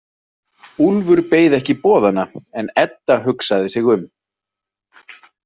Úlfur beið ekki boðanna en Edda hugsaði sig um.